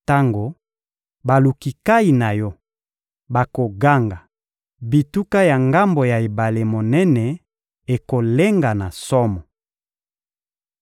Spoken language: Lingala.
Tango baluki nkayi na yo bakoganga, bituka ya ngambo ya ebale monene ekolenga na somo.